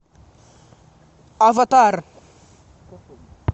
аватар